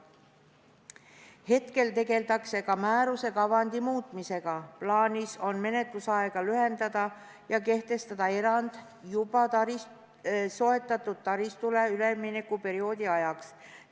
Hetkel tegeldakse ka määruse kavandi muutmisega, plaanis on menetlusaega lühendada ja kehtestada erand juba soetatud taristule üleminekuperioodi ajaks.